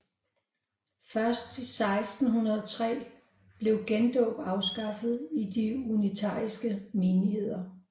Først 1603 blev gendåb afskaffet i de unitariske menigheder